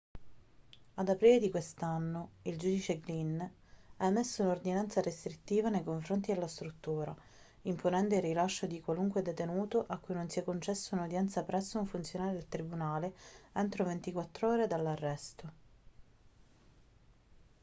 ad aprile di quest'anno il giudice glynn ha emesso un'ordinanza restrittiva nei confronti della struttura imponendo il rilascio di qualunque detenuto a cui non sia concessa un'udienza presso un funzionario del tribunale entro 24 ore dall'arresto